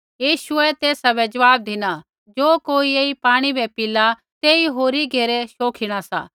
यीशुऐ तेसा बै ज़वाब धिना ज़ो कोई ऐई पाणी बै पिला तेई होरी घेरै शोखिणा सा